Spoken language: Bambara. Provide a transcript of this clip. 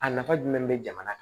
A nafa jumɛn be jamana kan